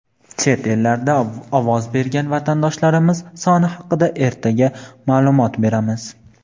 Chet ellarda ovoz bergan vatandoshlarimiz soni haqida ertaga ma’lumot beramiz.